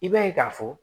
I b'a ye k'a fɔ